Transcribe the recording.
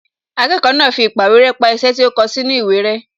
Akẹ́kọ̀ọ́ náà fi īpàwéré pa iṣẹ́ tí ó kọ sínú ìwé rẹ́